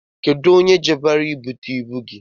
Onye ji baro ebute ibu gị?